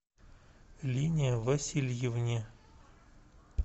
лине васильевне